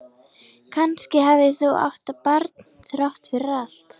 Kannski hafði hún átt barn þrátt fyrir allt.